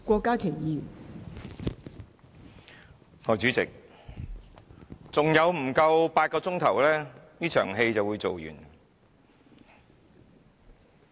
代理主席，還有不足8小時，這場戲便會演完。